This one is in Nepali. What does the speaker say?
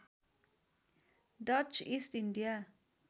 Dutch East India